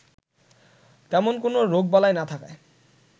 তেমন কোনো রোগবালাই না থাকায়